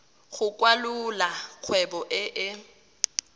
go kwalolola kgwebo e e